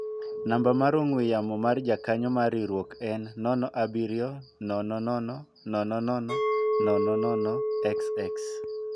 namba mar ong'we yamo mar jakanyo mar riwruok en 070000000xx